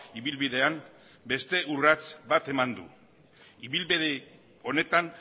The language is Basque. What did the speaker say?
ibilbidean beste urrats bat eman du ibilbide honetan